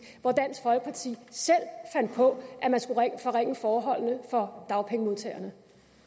hvor dansk folkeparti selv fandt på at man skulle forringe forholdene for dagpengemodtagerne